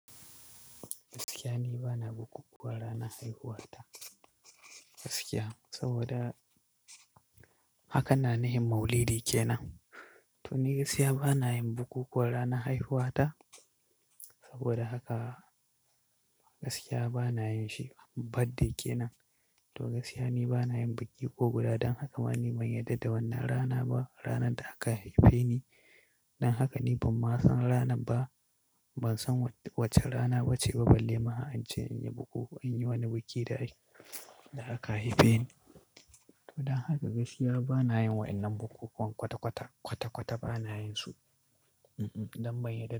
Gaskiya ni bana bukukuwa ranar haihuwata, gaskiya. Saboda haka na nihin maulidi kenan. To ni gaskiya bana yin bukukuwa ranar haihuwata saboda haka gaskiya bana yin shi birthday kenan. To ni gaskiya bana yin bukukuwan ranar haihuwata saboda haka gaskiya bana yin shi birthday kenan. Ma ni ban yarda da wannan rana ba, ranar da aka haife ni. Don haka ni ban ma san rana ba, ban san wacce rana ba ce ba, balle ma an ce in yi bukukuwa, in yi wani biki da aka haife ni. To don haka gaskiya bana yin waɗannan bukukuwan kwata-kwata, kwata-kwata bana yin su. Don ban yarda.